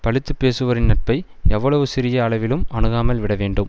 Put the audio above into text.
பழித்து பேசுவோரின் நட்பை எவ்வளவு சிறிய அளவிலும் அணுகாமல் விட வேண்டும்